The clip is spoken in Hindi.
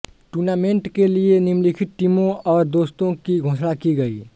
टूर्नामेंट के लिए निम्नलिखित टीमों और दस्तों की घोषणा की गई